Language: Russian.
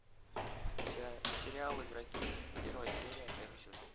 сериал игроки первая серия первый сезон